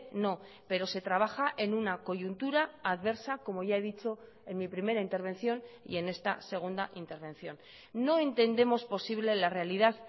no pero se trabaja en una coyuntura adversa como ya he dicho en mi primera intervención y en esta segunda intervención no entendemos posible la realidad